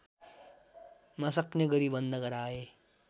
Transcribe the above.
नसक्ने गरी बन्द गराए